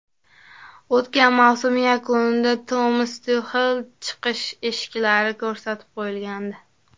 O‘tgan mavsum yakunida Tomas Tuxelga chiqish eshiklari ko‘rsatib qo‘yilgandi.